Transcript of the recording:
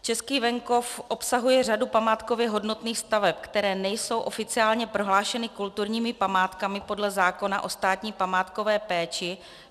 Český venkov obsahuje řadu památkově hodnotných staveb, které nejsou oficiálně prohlášeny kulturními památkami podle zákona o státní památkové péči.